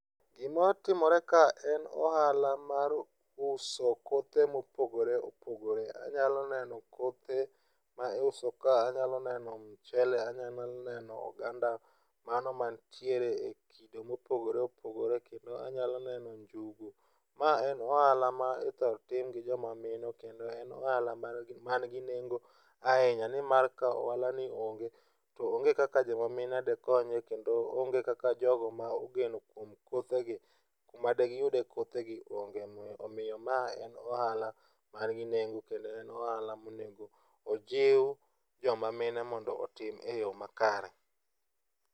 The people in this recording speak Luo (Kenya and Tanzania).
Gima timore ka en ohala mar uso kothe mopogore opogore anyalo neno kothe maiuso, anyalo neno mchele anyalo neno oganda mago mantie ekido mopogore opogore. Kendo anyalo neno njugu, ma en ohala ma ithoro tim gi joma mine kendo en ohala man gi nengo ahinya nimar ka ohalani onge to onge kaka joma mine dikonyre kendo onge kaka jogo mogeno kuom kothegi dikonyre, kuma digiyude kothegi onge omiyo mae en ohala man gi nengo kendo en ohala monego ojiw joma mine mondo otim eyo makare.